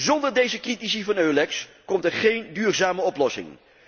Zonder deze critici van EULEX komt er geen duurzame oplossing.